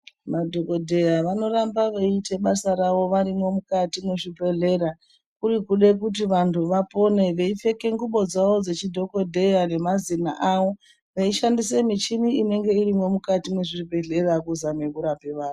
Madhokodheya vanorambe beyite basa ravo varimo mukati muzvibhedhlera, kurikude kuti vantu vapone. Veyipfeke nguwo dzavo dzechidhokodheya nemazina avo veyishandise michini inenge irimomukati mwezvibhedhlera kuzame kurape vantu.